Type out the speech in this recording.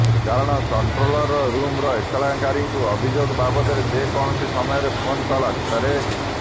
କାରଣ କଂଟୋ୍ରଲ ରୁମରୁ ଏତଲାକାରୀଙ୍କୁ ଅଭିଯୋଗ ବାବଦରେ ଯେ କୌଣସି ସମୟରେ ଫୋନ କଲ ଆସିପାରେ